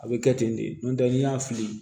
A bɛ kɛ ten de n'o tɛ n'i y'a fili